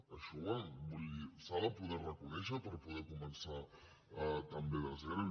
això vull dir s’ha de poder reconèixer per poder començar també de zero